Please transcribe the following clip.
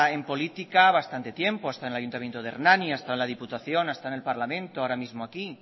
en política bastante tiempo ha estado en el ayuntamiento de hernani ha estado en la diputación ha estado en el parlamento ahora mismo aquí